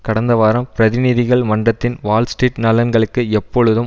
கடந்த வாரம் பிரதிநிதிகள் மன்றத்தின் வால்ஸ்ட்ரீட் நலன்களுக்கு எப்பொழுதும்